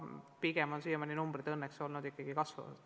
Pigem on numbrid siiamaani õnneks ikkagi kasvanud.